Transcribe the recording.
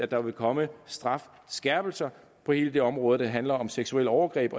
der komme strafskærpelser på hele det område der handler om seksuelle overgreb